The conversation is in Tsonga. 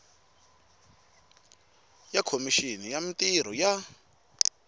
ya khomixini ya mintirho ya